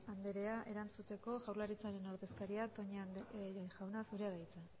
anderea erantzuteko jaurlaritzaren ordezkaria toña jauna zurea da hitza